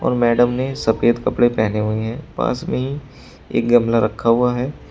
Madam ने सफेद कपड़े पेहने हुए हैं पास में ही एक गमला रखा हुआ है।